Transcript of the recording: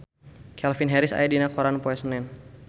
Calvin Harris aya dina koran poe Senen